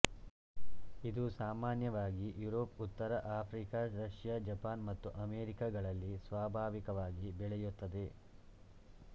ಇದು ಸಾಮಾನ್ಯವಾಗಿ ಯುರೋಪ್ ಉತ್ತರ ಆಫ್ರಿಕ ರಷ್ಯ ಜಪಾನ್ ಮತ್ತು ಅಮೆರಿಕಗಳಲ್ಲಿ ಸ್ವಾಭಾವಿಕವಾಗಿ ಬೆಳೆಯುತ್ತದೆ